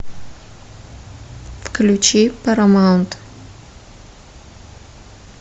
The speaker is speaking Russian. включи парамаунт